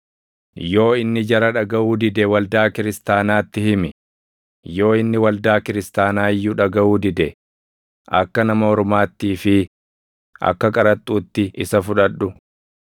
Yoo inni jara dhagaʼuu dide waldaa kiristaanaatti himi; yoo inni waldaa kiristaanaa iyyuu dhagaʼuu dide akka nama ormaattii fi akka qaraxxuutti isa fudhadhu.